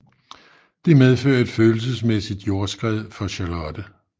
Det medfører et følelsesmæssigt jordskred for Charlotte